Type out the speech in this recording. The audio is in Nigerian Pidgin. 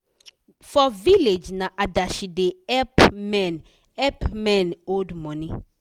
for village na adashi da help men help men hold money